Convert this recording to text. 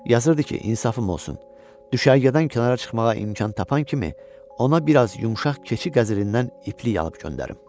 Yazırdı ki, insafım olsun, düşərgədən kənara çıxmağa imkan tapan kimi ona biraz yumşaq keçi qəzərindən iplik alıb göndərim.